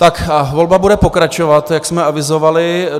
Tak a volba bude pokračovat, jak jsme avizovali.